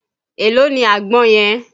Èló ni àgbọn yẹn?